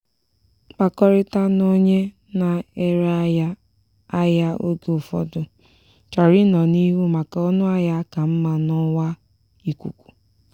mkpakọrịta na onye na-ere ahịa ahịa oge ụfọdụ chọrọ ịnọ n'ihu maka ọnụahịa ka mma n'ọwa ikuku.